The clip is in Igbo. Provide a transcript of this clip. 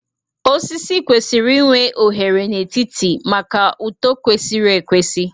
Osisi kwesịrị inwe oghere n'etiti maka uto kwesịrị ekwesị